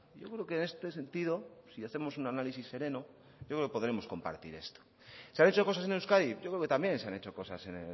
yo creo que en este sentido si hacemos un análisis sereno yo creo que podremos compartir esto se han hecho cosas en euskadi yo creo que también se han hecho cosas en